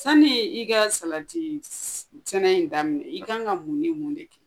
Sani i ka salatisɛnɛ in daminɛ i ka kan ka mun ni mun de kɛ